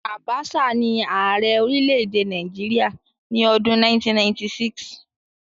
Abacha ni Ààrẹ orílẹ̀-èdè Nàìjíríà ní ọdún 1996.